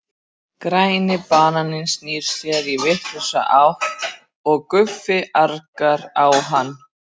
Græni bananinn snýr sér í vitlausa átt og Guffi argar á hann.